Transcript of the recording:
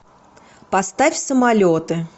поставь самолеты